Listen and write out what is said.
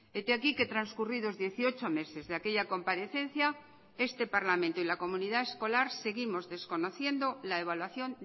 hete aquí que transcurridos dieciocho meses de aquella comparecencia este parlamento y la comunidad escolar seguimos desconociendo la evaluación